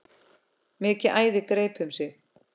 Mikið æði greip um sig.